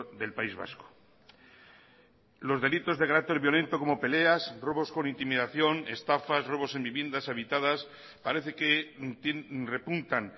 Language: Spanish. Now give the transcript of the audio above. del país vasco los delitos de carácter violento como peleas robos con intimidación estafas robos en viviendas habitadas parece que repuntan